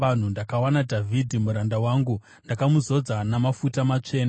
Ndakawana Dhavhidhi muranda wangu; ndakamuzodza namafuta matsvene.